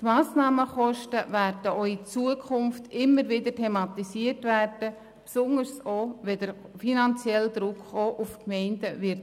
Die Massnahmenkosten werden auch zukünftig immer wieder thematisiert, besonders auch dann, wenn der finanzielle Druck auf die Gemeinden zunimmt.